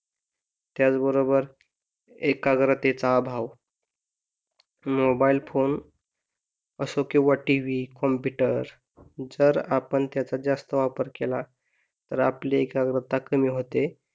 त्याच बरोबर एकाग्रतेच अभाव मोबाइल फोन असतो किंवा टीव्ही, कॉम्पुटर जर आपण त्याचा जास्त वापर केला तर आपले एकाग्रता कमी होते.